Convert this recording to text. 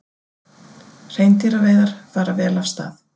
Hreindýraveiðar fara vel af stað